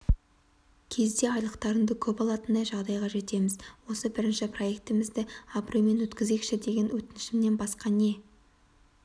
кезде айлықтарыңды көп алатындай жағдайға жетеміз осы бірінші проектімізді абыроймен өткізейікші деген өтінішімнен басқа не